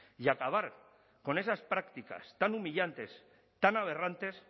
y acabar con esas prácticas tan humillantes tan aberrantes